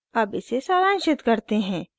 अब इसे सारांशित करते हैं